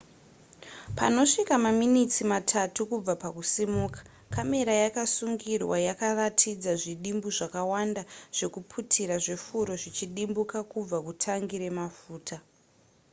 panosvika maminitsi matatu kubva pakusimuka kamera yakasungirwa yakaratidza zvidimbu zvakawanda zvekuputira zvefuro zvichidimbuka kubva kutangi remafuta